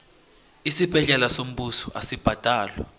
isibhedlela sombuso asibhadalwa